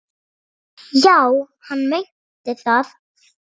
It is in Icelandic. Já, hann meinti það.